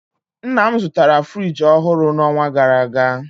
Nna m zụtara friji ọhụrụ n'ọnwa gara aga